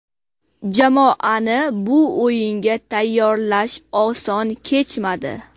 Jamoani bu o‘yinga tayyorlash oson kechmadi.